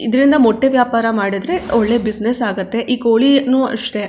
ಇದರಿಂದ ಮೊಟ್ಟೆ ವ್ಯಾಪಾರ ಮಾಡಿದ್ರೆ ಒಳ್ಳೆ ಬಿಸಿನೆಸ್ ಆಗುತ್ತೆ ಈ ಕೋಳಿಯನ್ನು ಅಷ್ಟೆ --